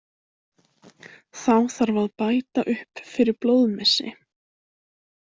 Þá þarf að bæta upp fyrir blóðmissi.